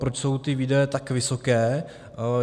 Proč jsou ty výdaje tak vysoké?